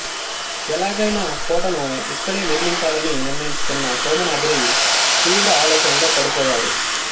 ఎలాగైనా కోటను ఇక్కడే నిర్మించాలని నిర్ణయించుకున్న సోమనాద్రి తీవ్ర ఆలోచనలో పడిపోయాడు